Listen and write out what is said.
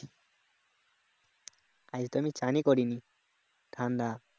আজ তো আমি চানই করে নি ঠান্ডা